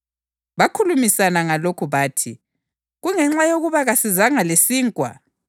Bakhulumisana ngalokhu bathi, “Kungenxa yokuba kasizanga lesinkwa.”